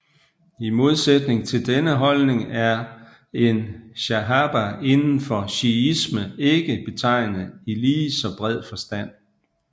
I modsætning til denne holdning er en shahaba indenfor shiisme ikke betegnet i ligeså bred forstand